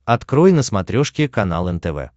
открой на смотрешке канал нтв